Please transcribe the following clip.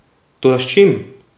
Toda s čim?